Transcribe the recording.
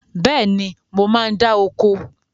Bẹ́ẹ̀ni, mo máa ń dáa oko